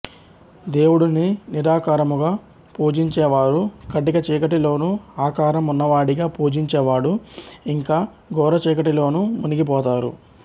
దేవుడిని నిరాకారముగా పూజించేవారు కటిక చీకటిలోనూ ఆకారం ఉన్నవాడిగా పూజించేవాడు ఇంకా ఘోరచీకటిలోనూ మునిగిపోతారు